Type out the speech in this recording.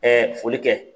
foli kɛ